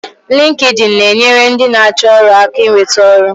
Linkedin na-enyere ndị na-achọ ọrụ aka inweta ọrụ